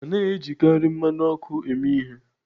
A naghị ejikarị mmanụ ọkụ eme ihe